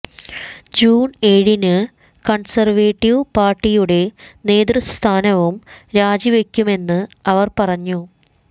June ഏഴിനു conservative പാര്ട്ടിയുടെ നേതൃസ്ഥാനവും രാജിവയ്ക്കുമെന്ന് അവര് പറഞ്ഞു